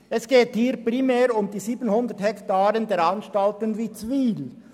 Es geht hier primär um die 700 Hektaren der Anstalten Witzwil.